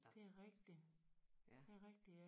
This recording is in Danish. Det rigtig det rigtig ja